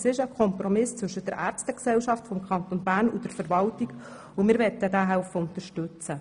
Es ist ein Kompromiss zwischen der Ärztegesellschaft des Kantons Bern und der Verwaltung, und wir helfen, ihn zu unterstützen.